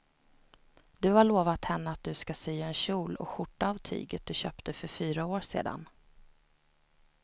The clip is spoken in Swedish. Du har lovat henne att du ska sy en kjol och skjorta av tyget du köpte för fyra år sedan.